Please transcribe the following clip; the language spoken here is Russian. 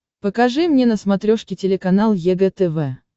покажи мне на смотрешке телеканал егэ тв